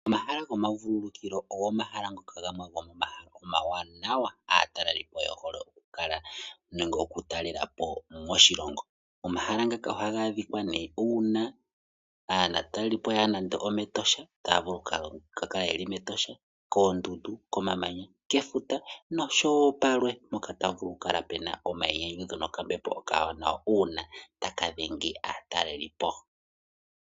Omahala gomavululukilo omahala omawanaw aatalelipo oye hole okutalelapo nenge oku kala moshilongo. Omahala ngano ohaga adhika uuna aatalelipo yaya nande ometosha nenege moondundu otaya vulu okwaadhamo omahala ngaka, kefuta, komamanya nakehe mpoka taya vulu okwaadha ehala lyina okambepo okawanawa.